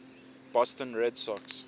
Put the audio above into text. boston red sox